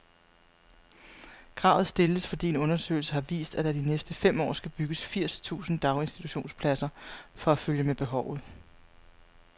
Kravet stilles, fordi en undersøgelse har vist, at der de næste fem år skal bygges firs tusind daginstitutionspladser for at følge med behovet.